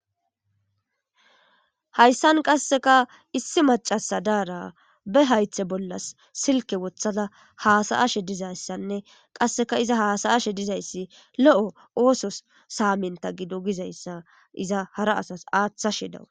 Haysan qaseka issi macasa Daara be haythe bolla silke wothada hasa'ashe dizaysanne qaseka iza hasa'ashe dizaysi lo'o oososi samita gido gizaysa iza hara asasi aathashe dawusi.